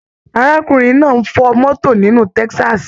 Arákùnrin náà n fọ mọto nilu Texas.